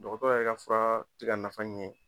Dɔgɔtɔrɔ yɛrɛ ka fura ti ka nafa ɲɛ.